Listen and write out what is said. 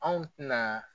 Anw tɛna